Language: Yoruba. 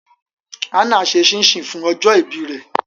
Hannah ṣe chin chin fun ọjọ ibi rẹ